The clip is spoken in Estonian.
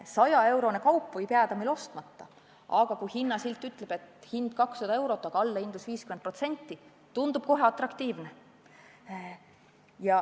100-eurone kaup võib jääda meil ostmata, aga kui hinnasilt ütleb, et hind on 200 eurot, aga allahindlus on 50%, tundub kohe atraktiivne.